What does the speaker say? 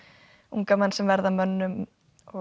unga menn sem verða að mönnum